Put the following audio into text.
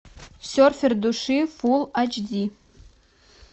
серфер души фулл айч ди